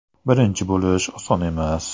Birinchi bo‘lish oson emas.